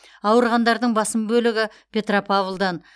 ауырғандардың басым бөлігі петропавлдан